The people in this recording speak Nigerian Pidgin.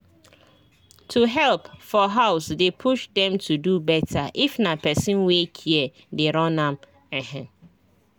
to help for house dey push dem to do better if na person wey care dey run am ehn